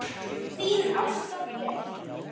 Þín Ásta Björk.